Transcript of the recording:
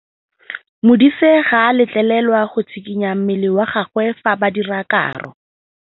Modise ga a letlelelwa go tshikinya mmele wa gagwe fa ba dira karô.